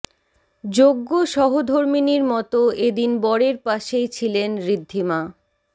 যোগ্য সহধর্মিনীর মতো এদিন বরের পাশেই ছিলেন ঋদ্ধিমা